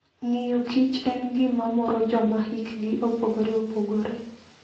Ng'iyo Kich en gima moro joma hikgi opogore opogore.